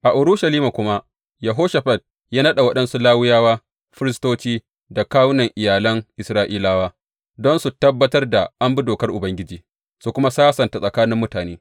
A Urushalima kuma, Yehoshafat ya naɗa waɗansu Lawiyawa, firistoci da kawunan iyalan Isra’ilawa don su tabbatar da an bi dokar Ubangiji, su kuma sasanta tsakanin mutane.